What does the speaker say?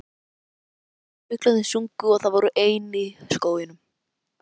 Sólin skein, fuglarnir sungu og þau voru ein í skóginum.